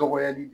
Dɔgɔyali